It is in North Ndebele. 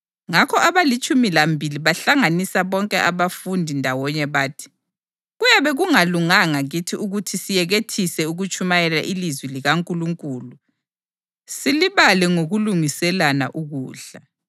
Ngakho abalitshumi lambili bahlanganisa bonke abafundi ndawonye bathi, “Kuyabe kungalunganga kithi ukuthi siyekethise ukutshumayela ilizwi likaNkulunkulu silibale ngokulungiselana ukudla.